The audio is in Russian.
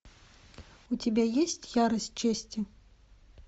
у тебя есть ярость чести